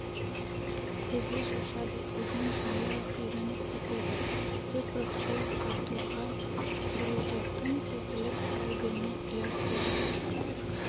көзі шашады өзінің әлі-ақ үйреніп кетеді деп рысқұлов артурға бұрылды тым тесіліп қарай берме ұят болады